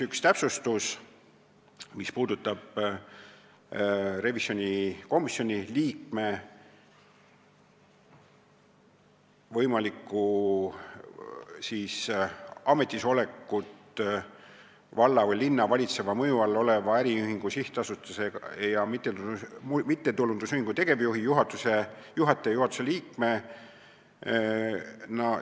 Üks täpsustus puudutab olukorda, kus võimalik revisjonikomisjoni liige on valla või linna valitseva mõju all oleva äriühingu, sihtasutuse või mittetulundusühingu tegevjuht, juhataja või juhatuse liige.